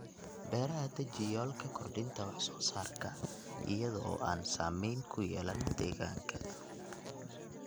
Beeraha Deji yoolka kordhinta wax soo saarka iyada oo aan saameyn ku yeelan deegaanka.